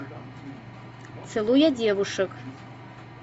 целуя девушек